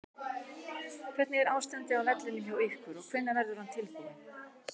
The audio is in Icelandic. Hvernig er ástandið á vellinum hjá ykkur og hvenær verður hann tilbúinn?